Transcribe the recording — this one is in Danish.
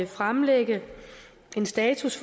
fremlægge en status